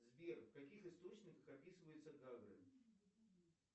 сбер в каких источниках описываются гагры